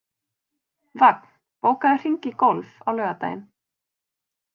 Vagn, bókaðu hring í golf á laugardaginn.